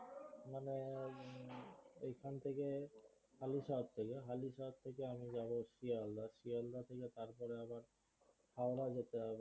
এখান থেকে হালিশহর থেকে আমি যাবো শিয়ালদহ শিয়ালদহ থেকে তারপরে আবার হাওড়া ও যেতে হবে